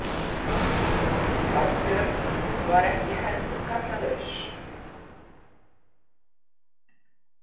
Þorbjörn var ekki heldur gallalaus.